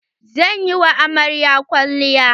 Zan yi wa amaryar kwalliya.